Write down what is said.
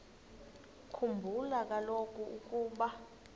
khumbula kaloku ukuba